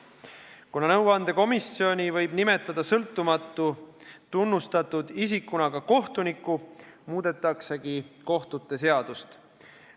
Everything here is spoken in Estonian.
Kuna nõuandekomisjoni liikmeks võib sõltumatu tunnustatud isikuna nimetada ka kohtuniku, muudetakse samuti kohtute seadust.